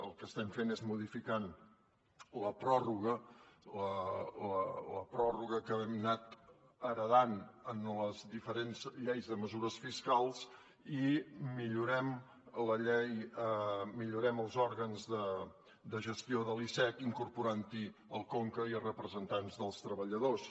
el que estem fent és modificar la pròrroga la pròrroga que hem anat heretant en les diferents lleis de mesures fiscals i millorem els òrgans de gestió de l’icec incorporant hi el conca i representants dels treballadors